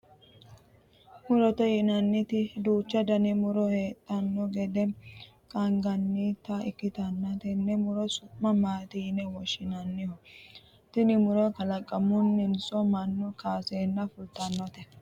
murote yinanniti duuchu dani muro heedhanno gede qaangannita ikkitanna, tenne muro su'mi maati yine woshshinanniho? tini muro kalaqamuninso mannu kaaseenna fultinote?